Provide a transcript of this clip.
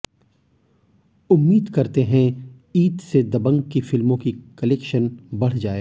उम्मीद करते हैं ईद से दबंग की फिल्मों की कलेक्शन बढ़ जाए